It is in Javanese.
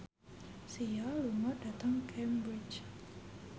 Sia lunga dhateng Cambridge